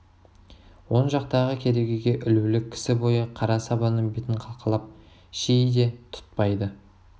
оң жақтағы керегеге ілулі кісі бойы қара сабаның бетін қалқалап ши де тұтпайды